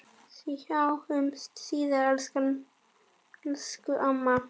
Sjáumst síðar, elsku amma.